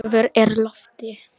Vor er í lofti.